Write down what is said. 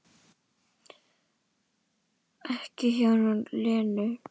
Ekki hjá Lenu